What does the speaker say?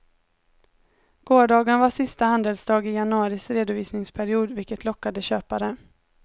Gårdagen var sista handelsdag i januaris redovisningsperiod vilket lockade köpare.